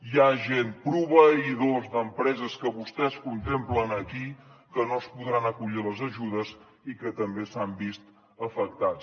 hi ha gent proveïdors d’empreses que vostès contemplen aquí que no es podran acollir a les ajudes i que també s’han vist afectats